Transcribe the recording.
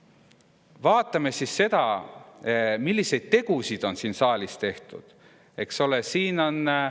Aga vaatame siis seda, milliseid tegusid on siin saalis tehtud.